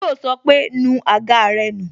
Yo sọ pé "nu àga rẹ nù"